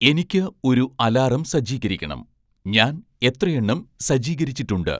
എനിക്ക് ഒരു അലാറം സജ്ജീകരിക്കണം, ഞാൻ എത്രയെണ്ണം സജ്ജീകരിച്ചിട്ടുണ്ട്